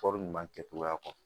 Kɔɔri ɲuman kɛ cogoya kɔ